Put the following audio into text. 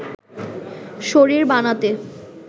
শরীর বানাতে